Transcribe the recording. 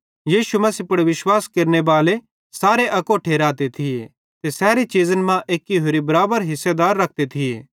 यीशु मसीह पुड़ विश्वास केरनेबाले सारे अकोट्ठे रहते थिये ते सैरी चीज़न मां एक्की होरि बराबर हिस्सेदार रखते थिये